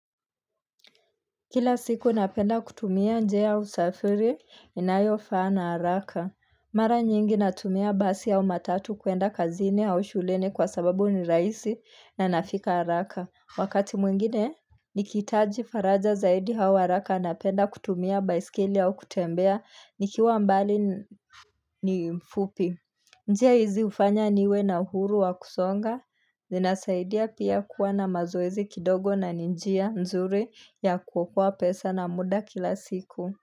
Kila siku napenda kutumia njia usafiri inayo faa na haraka. Mara nyingi natumia basi au matatu kuenda kazini au shuleni kwa sababu ni rahisi na nafika haraka. Wakati mwingine, nikihitaji faraja zaidi au haraka napenda kutumia baiskeli au kutembea nikiwa mbali ni mfupi. Njia hizi hufanya niwe na uhuru wa kusonga, zinasaidia pia kuwa na mazoezi kidogo na ninjia mzuri ya kuokoa pesa na muda kila siku.